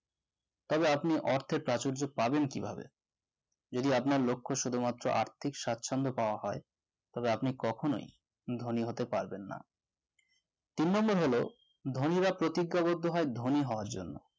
তবে আপনি অর্থের প্রাচুর্য পাবেন কিভাবে যদি আপনার লক্ষ্য শুধুমাত্র আর্থিক স্বাচ্ছন্দ্য পাওয়া হয় তবে আপনি কখনোই ধনী হতে পারবেন না তিন number হল ধনীরা প্রতিজ্ঞাবদ্ধ হয় ধনী হওয়ার জন্য